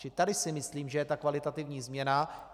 Čili tady si myslím, že je ta kvalitativní změna.